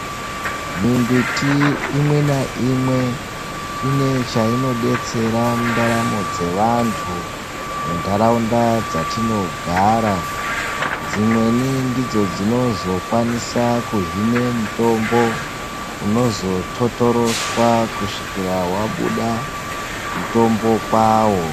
Mimbiti imwe naimwe ine zvainobetsera munharaunda dzatinogara. Imweni ndidzo dzinozokwanise kuhine mitombo dzinozototoreswa kusvika wabude mutombo kwawo.